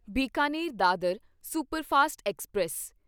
Bikaner Dadar superfast express